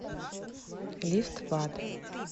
лифт в ад